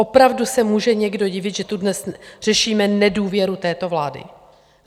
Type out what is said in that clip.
Opravdu se může někdo divit, že tu dnes řešíme nedůvěru této vládě?